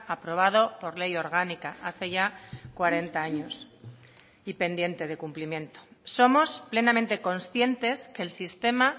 aprobado por ley orgánica hace ya cuarenta años y pendiente de cumplimiento somos plenamente conscientes que el sistema